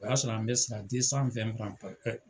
O y'a sɔrɔ an bɛ sara